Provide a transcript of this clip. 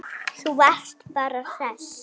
Þú varst bara hress.